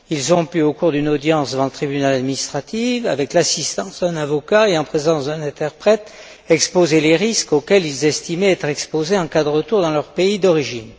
Ils ont pu, au cours d'une audience devant le tribunal administratif, avec l'assistance d'un avocat et en présence d'un interprète, exposer les risques auxquels ils estimaient être exposés en cas de retour dans leur pays d'origine.